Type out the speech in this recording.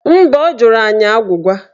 Mba, ọ jụrụ anyị agwụgwa